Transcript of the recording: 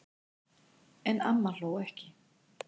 En amma hló ekki.